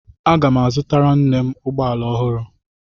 Aga m azụtara nne m ụgbọala ọhụrụ.